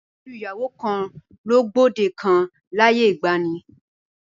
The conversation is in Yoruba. Fífẹ́ ju ìyàwó kan lọ gbòde kan láyé ìgbaanì.